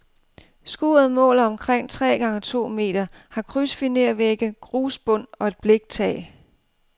Skuret måler omkring tre gange to meter, har krydsfinervægge, grusbund og et bliktag.